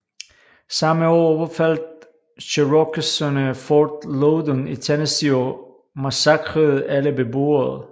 Samme år overfaldt cherokeserne Fort Loudon i Tennessee og massakrerede alle beboere